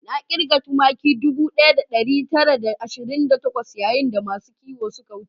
Na kirga tumaki ɗubu ɗaya da ɗari tara da ashirin da takwas yayin da masu kiwo suka wuce